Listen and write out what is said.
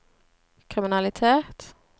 kriminalitet